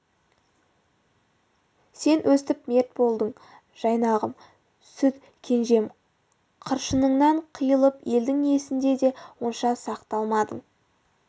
сен өстіп мерт болдың жайнағым сүт кенжем қыршыныңнан қиылып елдің есінде де онша сақталмадың